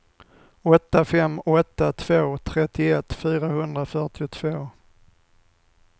åtta fem åtta två trettioett fyrahundrafyrtiotvå